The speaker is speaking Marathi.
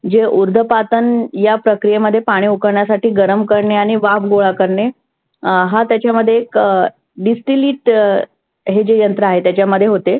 जे उर्धपातन या प्रक्रियेमध्ये पाणि उकळण्यासाठी गरम करणे आणि वाफ गोळा करणे हा त्याच्यामध्ये एक distilite हे जे यंत्र आहे त्याच्यामध्ये होते.